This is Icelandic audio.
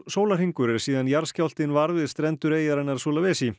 sólarhringur er síðan jarðskjálftinn varð við strendur eyjarinnar